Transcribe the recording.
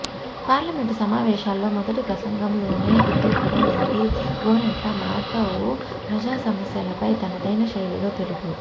parliament సమావేశాల్లో మొదటి ప్రసంగంలోనే హిందూపురం ఎంపీ గోరంట్ల మాధవ్ ప్రజా సమస్యలపై తనదైన శైలిలో తెలుగు